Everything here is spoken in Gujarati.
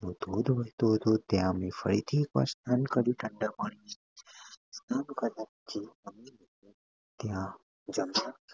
ત્યાં ધોધ વરસતો હતો ત્યાં ફરીથી અમે એકવાર સ્નાન કર્યું ઠંડા પાણીથી. સ્નાન કર્યા પછી અમે ત્યાં રમણીય સ્થળે